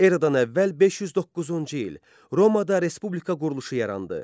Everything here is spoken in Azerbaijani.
Eradan əvvəl 509-cu il Romaada Respublika quruluşu yarandı.